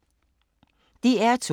DR2